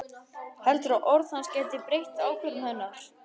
Heldur að orð hans geti breytt ákvörðun hennar.